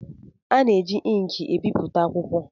A na-eji ịnkị ebipụta akwụkwọ.